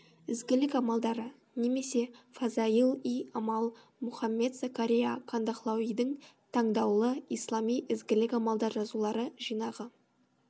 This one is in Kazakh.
ізгілік амалдары немесе фазаил и амал мұхаммед закария кандахлауидің таңдаулы ислами ізгілік амалдар жазулары жинағы